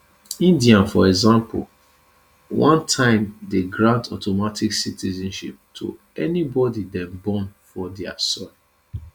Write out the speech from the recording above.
india for example one time dey grant automatic citizenship to anybody dem born for dia soil